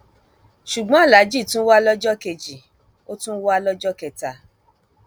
ṣùgbọn aláàjì tún wà lọjọ kejì ó tún wà lọjọ kẹta